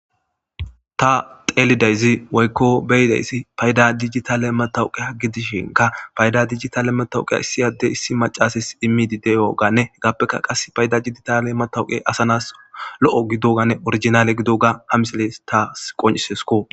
Ta teelidayzi woykko beyidayssi payda dijitale matawuqeya gidishinka payda dijitale matawuqiya issiyadde issi macasis immidi deyoganne heggaappeka qas payda diditale matawuqe asanas lo7o gidoganne orijinale gido ga hamisileys taas qoncisesko.